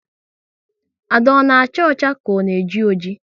Ada ona acha ọcha ka ọ na eji oji?